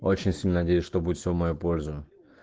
очень сильно надеюсь что будет все в мою пользу